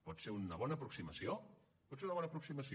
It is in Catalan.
pot ser una bona aproximació pot ser una bona aproximació